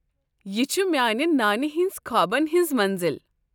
یہ چھ میانہ نانہ ہِنٛز خوابن ہنٛز منزل۔